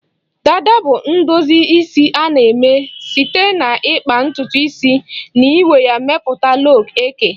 Dada bu ndozi isi nke a na-eme site n'ikpa ntutu isi na ikwe ya mmepụta lok eke